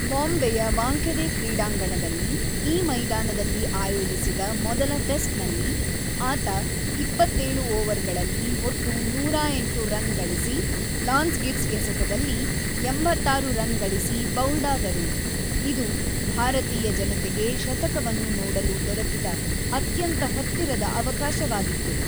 ಬಾಂಬೆಯ ವಾಂಖೆಡೆ ಕ್ರೀಡಾಂಗಣದಲ್ಲಿ, ಈ ಮೈದಾನದಲ್ಲಿ ಆಯೋಜಿಸಿದ ಮೊದಲ ಟೆಸ್ಟ್‌ನಲ್ಲಿ, ಆತ ೨೭ ಓವರ್‌ಗಳಲ್ಲಿ ಒಟ್ಟು ೧೦೮ ರನ್ ಗಳಿಸಿ, ಲಾನ್ಸ್ ಗಿಬ್ಸ್ ಎಸೆತದಲ್ಲಿ ೮೬ ರನ್ ಗಳಿಸಿ ಬೌಲ್ಡಾದರು, ಇದು ಭಾರತೀಯ ಜನತೆಗೆ ಶತಕವನ್ನು ನೋಡಲು ದೊರಕಿದ ಅತ್ಯಂತ ಹತ್ತಿರದ ಅವಕಾಶವಾಗಿತ್ತು.